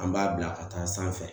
An b'a bila ka taa sanfɛ